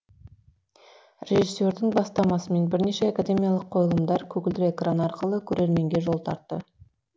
режиссердің бастамасымен бірнеше академиялық қойылымдар көгілдір экран арқылы көрерменге жол тартты